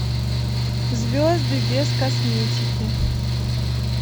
звезды без косметики